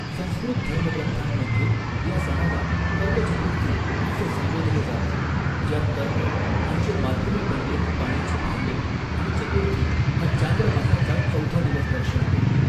संस्कृत धर्मग्रंथांमध्ये, या सणाला कर्क चतुर्थी असे संबोधले जाते, ज्यात कर्क म्हणजे मातीने बनलेले पाण्याचे भांडे, आणि चतुर्थी हा चांद्रमासाचा चौथा दिवस दर्शवितो.